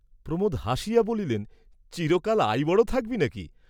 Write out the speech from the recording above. প্রমোদ হাসিয়া বলিলেন, চিরকাল আইবড় থাকবি না কি?